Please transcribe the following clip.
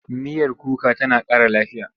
Miyar kuka tana ƙara lafiya.